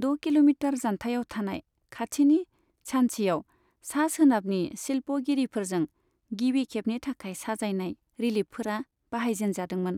द' किल'मिटार जान्थायाव थानाय, खाथिनि सान्चीयाव सा सोनाबनि शिल्प'गिरिफोरजों गिबि खेबनि थाखाय साजायनाय रिलिफफोरा बाहायजेनजादोंमोन।